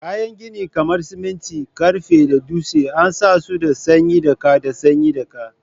Kayan gini kamar siminti, karfe da dutse an san su da tsayin daka da tsayin daka